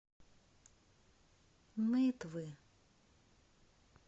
нытвы